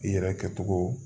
I yɛrɛ kɛcogo